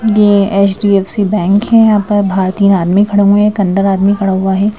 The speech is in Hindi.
यह एच _डी_एफ_सी बैंक है यहाँ पर बाहर तीन आदमी खड़े हुए हैं एक अंदर आदमी खड़ा हुआ है।